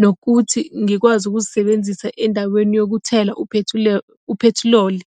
nokuthi ngikwazi ukuzisebenzisa endaweni yokuthela uphethiloli.